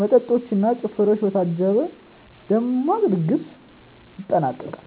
መጠጦች እና ጭፈራዎች በታጀበ ደማቅ ድግስ ይጠናቀቃል።